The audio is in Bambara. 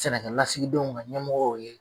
Sɛnɛkɛlasigidenw ka ɲɛmɔgɔw ye